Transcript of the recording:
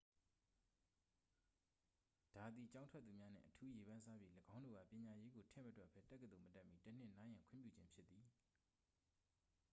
ဒါသည် ကျောင်းထွက်သူများနှင့် အထူးရေပန်းစားပြီး ၎င်းတို့အား ပညာရေးကို ထည့်မတွက်ပဲ တက္ကသိုလ်မတက်မှီ တစ်နှစ် နားရန်ခွင့်ပြုခြင်းဖြစ်သည်